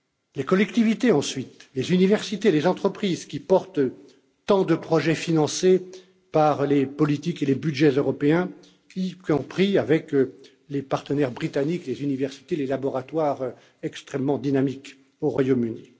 Les collectivités ensuite, les universités et les entreprises qui portent tant de projets financés par les politiques et les budgets européens, y compris avec les partenaires britanniques, les universités, les laboratoires extrêmement dynamiques au Royaume